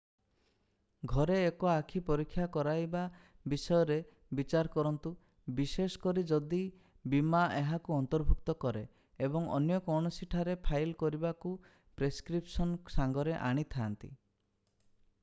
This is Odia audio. ଘରେ ଏକ ଆଖି ପରୀକ୍ଷା କରାଇବା ବିଷୟରେ ବିଚାର କରନ୍ତୁ ବିଶେଷକରି ଯଦି ବୀମା ଏହାକୁ ଅନ୍ତର୍ଭୁକ୍ତ କରେ ଏବଂ ଅନ୍ୟ କୌଣସିଠାରେ ଫାଇଲ୍ କରିବାକୁ ପ୍ରେସକ୍ରିପସନ୍ ସାଙ୍ଗରେ ଆଣିଥାନ୍ତି